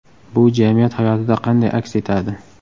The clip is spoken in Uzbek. Bu jamiyat hayotida qanday aks etadi?